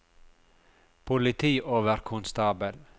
politioverkonstabel